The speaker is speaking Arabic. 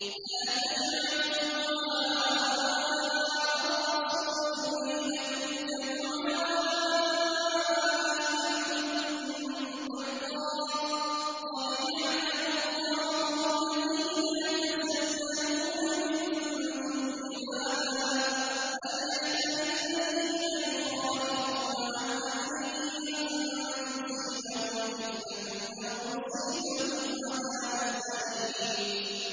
لَّا تَجْعَلُوا دُعَاءَ الرَّسُولِ بَيْنَكُمْ كَدُعَاءِ بَعْضِكُم بَعْضًا ۚ قَدْ يَعْلَمُ اللَّهُ الَّذِينَ يَتَسَلَّلُونَ مِنكُمْ لِوَاذًا ۚ فَلْيَحْذَرِ الَّذِينَ يُخَالِفُونَ عَنْ أَمْرِهِ أَن تُصِيبَهُمْ فِتْنَةٌ أَوْ يُصِيبَهُمْ عَذَابٌ أَلِيمٌ